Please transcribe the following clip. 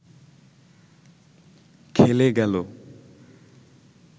খেলে গেল